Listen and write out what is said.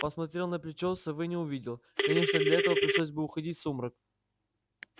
посмотрел на плечо совы не увидел конечно для этого пришлось бы уходить в сумрак